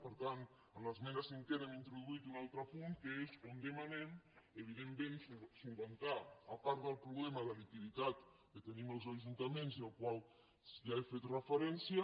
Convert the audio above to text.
per tant en l’esmena cinquena hem introduït un altre punt que és on demanem evidentment solucionar a part del problema de liquiditat que tenim els ajuntaments i al qual ja he fet referència